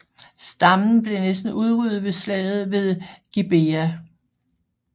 Stammen blev næsten udryddet ved Slaget ved Gibeah